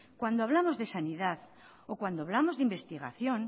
cuando hablamos de sanidad o cuando hablamos de investigación